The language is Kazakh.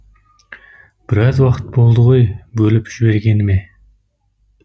біраз уақыт болды ғой бөліп жібергеніме